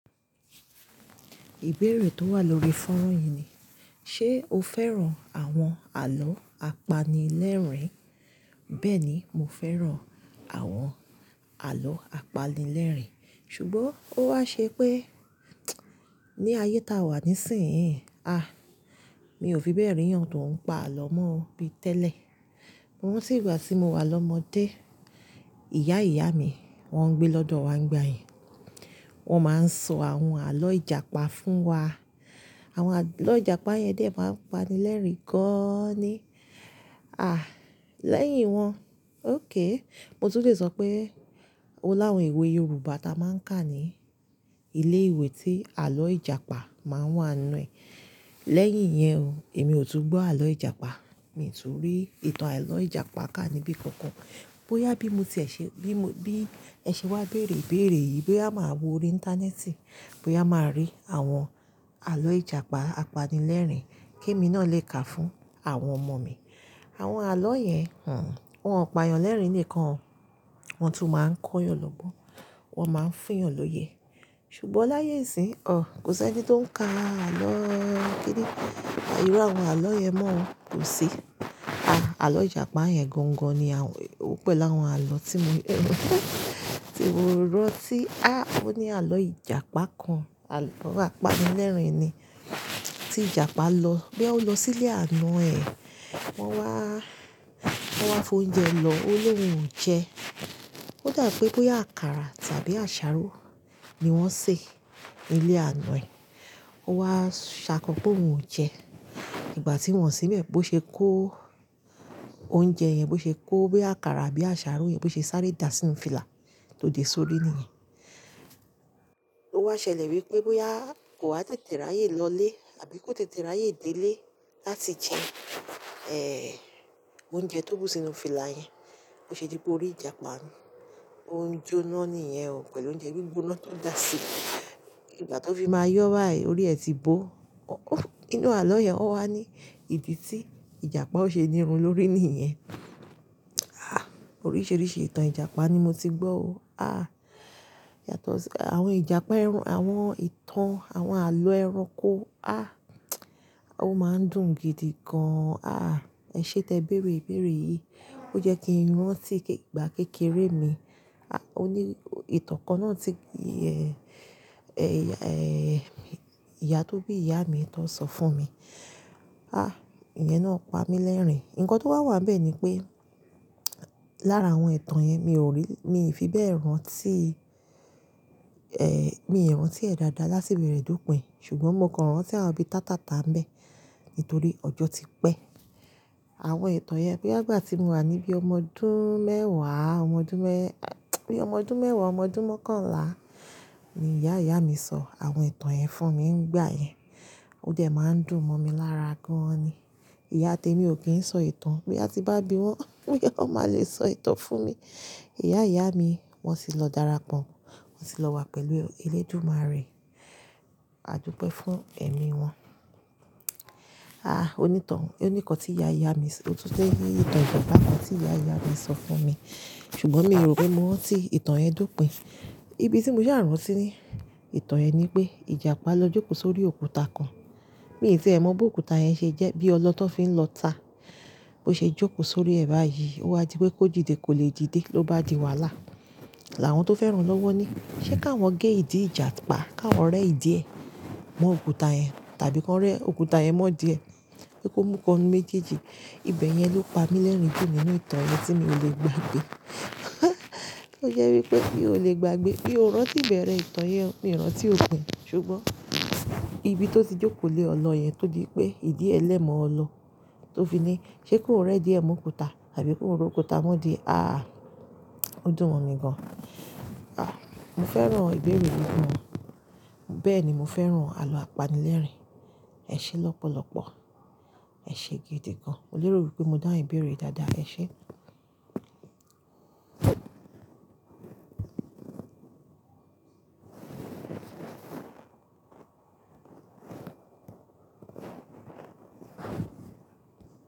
Ìbéèrè tó wà lórí fọ́nrán yìí ni, ṣe o fẹ́ràn àwọn àlọ́ apanilẹ́rìn-ín? Bẹ́ẹ̀ni, mo fẹ́ràn àwọn àlọ́ apanilẹ́rìn-ín. Ṣùgbọ́n ó wá ṣe pé ní ayé táa wà nísìnyí, à, mi ò fi bẹ́ẹ̀ rí eyan tó ń pa àlọ́ mọ́ bíi tẹ́lẹ̀. Mo rántí ìgbà tí mo wà lọ́mọdé, ìyá ìyá mi, wọ́n ń gbé lọ́dọ̀ wa nígbà yẹn. Wọ́n máa ń sọ àwọn àlọ́ Ìjàpá fún wa. Àwọn àlọ́ Ìjàpá yẹn dè ẹ́ máa ń pani lẹ́rìn-ín gan-an ni. À, lẹ́yìn wọ́n, ókay, mo tún lè sọ pé ó láwọn ìwé Yorùbá ta máa ń kà ni ilé ìwé tí àlọ́ Ìjàpá máa ń wà nínú ẹ̀. Lẹ́yìn yẹn o, èmi ò tún gbọ́ àlọ́ Ìjàpá, mi tún rí ìtàn àlọ́ Ìjàpá kà níbí kankan. Bóyá bí mo tiẹ̀ ṣe, bí mo, bí ẹ ṣe wá béèrè béèrè yìí, bóyá màá wo orí ìntánẹ́ẹ̀tì, bóyá màá rí àwọn àlọ́ Ìjàpá apanilẹ́rìn-ín kí èmi náà lè kà fún àwọn ọmọ mi. Àwọn àlọ́ yẹn, hun, wọ́n ò payan lẹ́rìn-ín lèkan o. Wọ́n tún máa ń kóyàn lọ́gbọ́n, wọ́n máa ń fún eyàn l'óye. Ṣùgbọ́n láyé nsín, ọ, kò sí ẹni tó ń ka àlọ́ kíni. Iru àwọn àlọ́ yẹn mọ́ ò kosí. A, àlọ́ Ìjàpá yẹn gangan ni àwọn, ó pẹ̀ láwọn àlọ́ tí mo, tí mo rántí. A, ó ní àlọ́ Ìjàpá kan, àlọ́ apanilẹ́rìn-ín ni. Tí Ìjàpá lọ, boya ó lọ sí ilé àna ẹ̀, wọ́n wá, wọ́n wá fo oúnjẹ lọ, ó ní òun ò jẹ. Ó dà pé bóyá àkàrà tàbí àṣàrò ni wọ́n sè nilé àna ẹ̀. Ó wá ṣàkọ pé òun ò jẹ. Ìgbà tí wọ́n o sì n bẹ̀ẹ́, bó ṣe kó oúnjẹ yẹn, bó ṣe kó bóyá àkàrà àbí àṣàrò yẹn, bó ṣe sáré dà sínu fìlà tó de sórí nìyẹn. Ó wá ṣẹlẹ̀ wí pé bóyá kò wa tètè ráyè lọlé tàbí kó tètè ráyè dé ilé láti jẹ, eh, oúnjẹ tó bù sínu fìlà yẹn. Boṣe dí pé orí Ìjàpá, ó ń jó ná nìyẹn o pẹ̀lú oúnjẹ gbígbóná tó dà sí i. Ìgbà tó fi máa yọ́ bayi, orí ẹ ti bó. Ninú àlọ́ yẹn ó wá ní ìdí tí Ìjàpá ó ṣe nírun lórí nìyẹn. A, oríṣìíríṣìí ìtàn Ìjàpá ni mo ti gbọ́ o. A, yàtọ̀ sí àwọn Ìjàpá ẹran, àwọn ìtàn, àwọn àlọ́ ẹranko. A, ó máa ń dùn gidi gan-an. A, ẹ ṣé tẹ béèrè ìbéèrè yìí, ó jẹ́ kí n rán tí ìgbà kékeré mi. A, ó ní ìtàn kan náà tí, eh, eh, eh, ìyá tó bí ìyá mi tó n sọ fún mi. A, ìyẹn náà pa mí lẹ́rìn-ín. Ǹkan tó wá wà níbẹ̀ ni pé lára àwọn ìtàn yẹn mi ò rí, mi ò fi bẹ́ẹ̀ rántí, eh, mi ò rántí ẹ̀ dáadáa látiberẹ̀ dópin. Ṣùgbọ́n mo kàn rántí àwọn bíi tátà ta ń bẹ́ nítorí ọjọ́ ti pẹ́. Àwọn ìtàn yẹn boya igbà tí mo wà níbí ọmọ ọdún mẹ́ẹ̀wá, ọmọ ọdún mẹ́-- boya ọmọ ọdún mẹ́ẹ̀wá, ọmọ ọdún mọ́kànlá ni ìyá ìyá mi ṣọ àwọn ìtàn yẹn fún mi ngbà yẹn. Ó dẹ́ máa ń dùn mọ́ mi lára gan-an ni. Ìyá temi ò kí n sọ ìtàn, boya ti n bá bí wọn, o ye kan máa lè sọ ìtàn fún mi. Ìyá ìyá mi wọ́n ti lọ dára pọ́, wọ́n ti lọ wá pẹ̀lú elédùmárẹ. A dúpẹ́ fún ẹ̀mí wọn. A, onítàn, oníkọ̀n tí ìyá ìyá mi, ó tún lè ní ìtàn ijapa kan tí ìyá ìyá mi ṣọ fún mi. Ṣùgbọ́n mi ò rò pé mo rántí ìtàn yẹn dópin. Ibi tí mo ṣà rànti de ìtàn yẹn ni pé Ìjàpá lọ jókòó sórí òkúta kan. Mi tí ẹ mọ̀ bó òkúta yẹn ṣe jẹ́ bí ọlọ tó fi ń lọta. Bó ṣe jókòó sórí ẹ̀ báyìí, ó wá di pé kó dìde kò lè dìde, ló bá di wàhálà. Àwọn tó fẹ́ ràn lọ́wọ́ ni, "Ṣé ká wọ́n gé ìdí Ìjàpá, ká wọ́n rẹ́ ìdí ẹ̀ mọ́ òkúta yẹn tàbí ká wọ́n rẹ́ òkúta yẹn mọ́ ìdí ẹ̀ pe kó mú ikan nu méjèèjì." Ibẹ̀ yẹn ló pa mí lẹ́rìn-ín jù nínú ìtàn yẹn tí mi ò lè gbàgbé. Ó jẹ́ wí pé bí ó lè gbàgbé, bí ó rántí ìbẹ̀rẹ̀ ìtàn yẹn, mi ò rántí ó pẹ́. Ṣùgbọ́n ibi tó ti jókòó lé ọlọ yẹn tó di pé ìdí ẹ lẹ́mọ̀ọ́ ọlọ tó fi ní, "Ṣé kón rẹ́ ìdí ẹ̀ mọ́ òkúta tàbí kón re òkúta mọ́ ìdí e?" A, ó dùn mọn ni gan-an. A, mo fẹ́ràn ìbéèrè gan. Bẹ́ẹ̀ni, mo fẹ́ràn àlọ́ apanilẹ́rìn-ín. Ẹ ṣé lọ́pọ̀lọ́pọ̀. Ẹ ṣe gidi gan-an. Mo lérò wí pé mo dáun ibéèrè dáadáa. Ẹ ṣé.